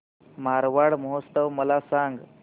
मारवाड महोत्सव मला सांग